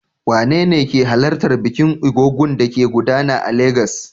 Wanene ke halartar bikin Egúngún da ke gudana a Legas?